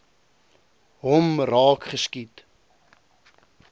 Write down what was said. hom raak geskiet